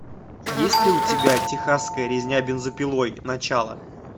есть ли у тебя техасская резня бензопилой начало